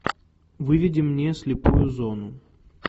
выведи мне слепую зону